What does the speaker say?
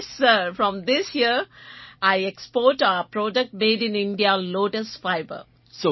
yes sir from this year I export our product made in India lotus fibre